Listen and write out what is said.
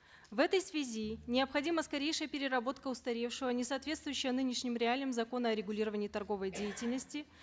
в этой связи необходима скорейшая переработка устаревшего несоответствующего ныненшним реалиям закона о регулировании торговой деятельности